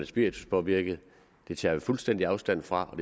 spirituspåvirket det tager vi fuldstændig afstand fra og